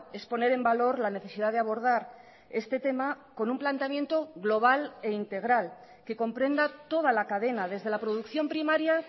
es poner en valor la necesidad de abordar este tema con un planteamiento global e integral que comprenda toda la cadena desde la producción primaria